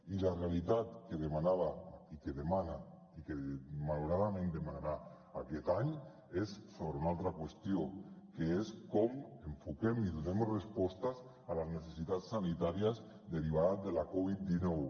i la realitat que demanava i que demana i que malauradament demanarà aquest any és sobre una altra qüestió que és com enfoquem i donem respostes a les necessitats sanitàries derivades de la covid dinou